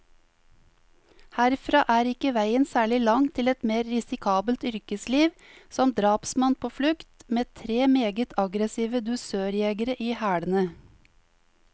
Herfra er ikke veien særlig lang til et mer risikabelt yrkesliv, som drapsmann på flukt, med tre meget aggressive dusørjegere i hælene.